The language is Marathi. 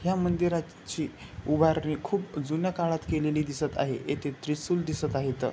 ह्या मंदिराची उभारणी खुप जुन्या काळात केलेली दिसत आहे येथे त्रिशूल दिसत आहे इथ.